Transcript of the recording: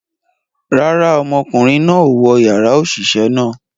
Rara, ọmọkunrin náà o wọ yara oṣiṣẹ náà